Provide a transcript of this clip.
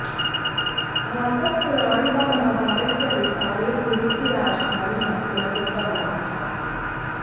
भागवत पुराण व महाभारत के अनुसार यह कुरु की राजधानी हस्तिनापुर का भाग था